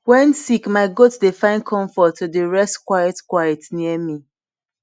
wen sick ma goat dey find comfort to dey rest quiet quiet near me